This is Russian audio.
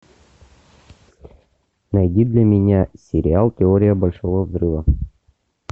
найди для меня сериал теория большого взрыва